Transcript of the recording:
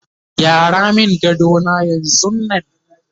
gyara min gadona yanzun Nan!